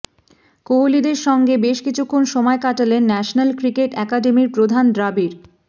কোহলিদের সঙ্গে বেশ কিছুক্ষণ সময় কাটালেন ন্যাশনাল ক্রিকেট অ্যাকাডেমির প্রধান দ্রাবিড়